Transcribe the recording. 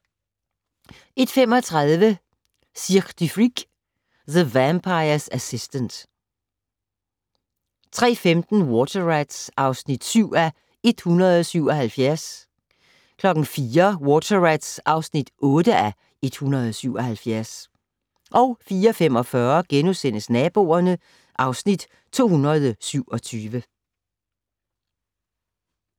01:35: Cirque du Freak: The Vampire's Assistant 03:15: Water Rats (7:177) 04:00: Water Rats (8:177) 04:45: Naboerne (Afs. 227)*